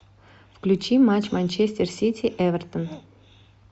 включи матч манчестер сити эвертон